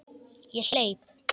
Ég hleyp.